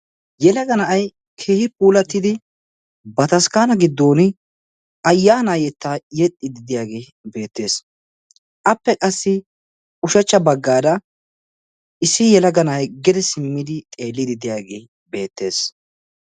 yelaga na'ay keehi puulatidi bataskkana giddon ayyana yettaa yexxiidi diyaagee beettees. appe qassi ushachcha bagaara issi yelaga na'ay gede simmid xeelidi de'iyaagee beettees.